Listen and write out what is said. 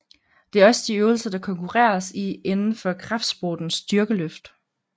Det er også de øvelser der konkurreres i inden for kraftsporten styrkeløft